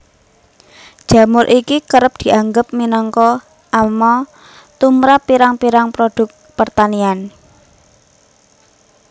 Jamur iki kerep dianggep minangka ama tumrap pirang pirang produk pertanian